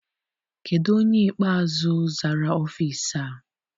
Kedụ onye ikpeazụ zara ọfịịsi a?